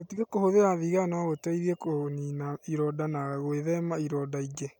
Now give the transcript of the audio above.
Gũtiga kũhũthira thigara no gũteithie kũniina ironda na gwĩthema ironda ingĩ.